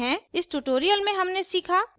इस tutorial में हमने सीखा